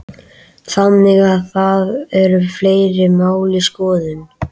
Þannig að það eru fleiri mál í skoðun?